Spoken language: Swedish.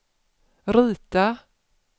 rita